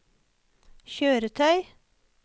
kjøretøy